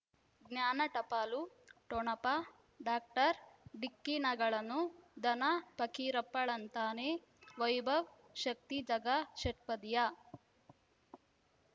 ಜ್ಞಾನ ಟಪಾಲು ಠೊಣಪ ಡಾಕ್ಟರ್ ಢಿಕ್ಕಿ ಣಗಳನು ಧನ ಫಕೀರಪ್ಪ ಳಂತಾನೆ ವೈಭವ್ ಶಕ್ತಿ ಝಗಾ ಷಟ್ಪದಿಯ